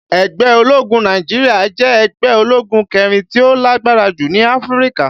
Ẹgbẹ́ ológun Naijiria jẹ́ ẹgbẹ́ ológun kẹrin tí ó lágbára jù ní Áfríkà.